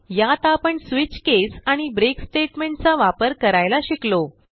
यात आपण switch case आणि ब्रेक स्टेटमेंट चा वापर करायला शिकलो